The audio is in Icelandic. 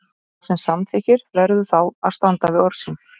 Sá sem samþykkir verður þá að standa við orð sín.